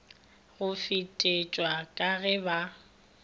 go fetetšwa ka ge ba